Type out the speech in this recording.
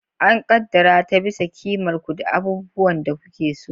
An ƙaddara ta bisa ƙimar ku da abubuwan da kuke so.